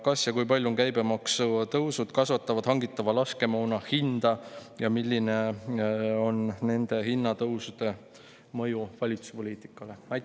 Kas ja kui palju kasvatavad käibemaksutõusud hangitava laskemoona hinda ja milline on nende hinnatõusude mõju valitsuse poliitikale?